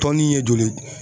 Tɔnni ye joli ye?